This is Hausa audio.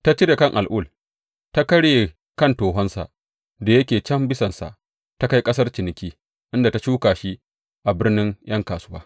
Ta cire kan al’ul, ta karya kan tohonsa da yake can bisansa ta kai ƙasar ciniki, inda ta shuka shi a birnin ’yan kasuwa.